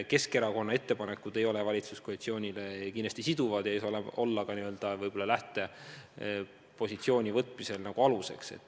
Keskerakonna ettepanekud ei ole valitsuskoalitsioonile kindlasti siduvad, need ei saa olla ka n-ö lähtepositsiooni võtmisel aluseks.